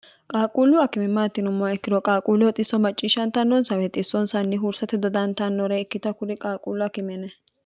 qaaquullu akime maati yimmoha ikkiro qaaquulleho xisso macciishshantannonsa weete xissoonsanni huursate dodantannore ikkitanna kuri qaaquullu akime yinanni.